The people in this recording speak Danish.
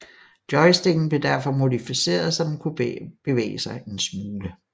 Joysticken blev derfor modificeret så den kunne bevæge sig en smule